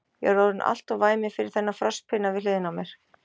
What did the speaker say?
Ég er orðinn alltof væminn fyrir þennan frostpinna við hliðina á mér.